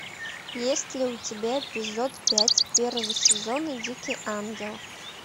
есть ли у тебя эпизод пять первого сезона дикий ангел